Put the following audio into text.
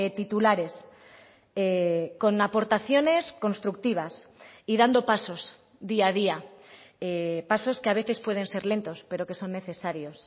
titulares con aportaciones constructivas y dando pasos día a día pasos que a veces pueden ser lentos pero que son necesarios